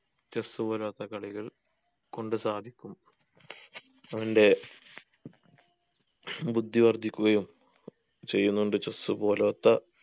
chess പോലോത്ത കളികൾ കൊണ്ട് സാധിക്കും അവൻ്റെ ബുദ്ധി വർദ്ധിക്കുകയും ചെയ്യുന്നോണ്ട് chess പോലോത്ത